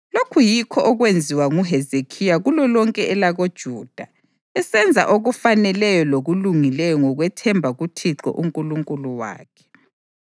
Lokhu yikho okwenziwa nguHezekhiya kulolonke elakoJuda, esenza okufaneleyo lokulungileyo ngokwethemba kuThixo uNkulunkulu wakhe.